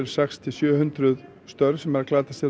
sex til sjö hundruð störf sem glatast hér